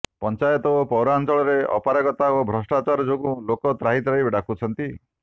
ପଞ୍ଚାୟତ ଓ ପୌରାଞ୍ଚଳରେ ଅପାରଗତା ଓ ଭ୍ରଷ୍ଟାଚାର ଯୋଗୁଁ ଲୋକେ ତ୍ରାହି ତ୍ରାହି ଡାକୁଛନ୍ତି